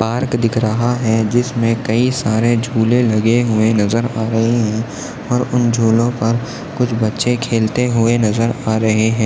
Park दिख रहा है जिसमे कही सारे झूले लगे हुए नजर हा रही है और उन झूलों पर कुछ बच्चे खेलते हुए नजर हा रहे है।